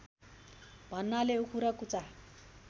भन्नाले उखु र कुचा